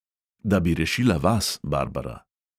Da bi rešila vas, barbara.